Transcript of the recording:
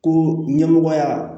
Ko ɲɛmɔgɔya